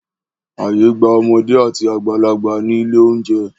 Ààyè gba ọmọdé àti àgbàlagbà ní ilé-oúnjẹ.